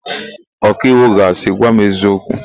Ọkaiwu ga asị, "gwa m eziokwu"!